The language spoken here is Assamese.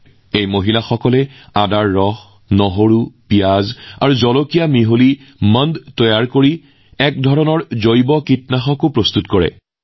একেদৰে এই মহিলাসকলেও আদা নহৰু পিয়াঁজ আৰু মৰিচাৰ পেষ্ট তৈয়াৰ কৰি জৈৱিক কীটনাশক প্ৰস্তুত কৰে